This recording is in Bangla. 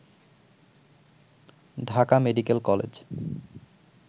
Dhaka medical college